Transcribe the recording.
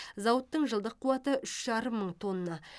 зауыттың жылдық қуаты үш жарым мың тонна